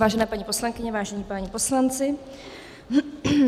Vážené paní poslankyně, vážení páni poslanci.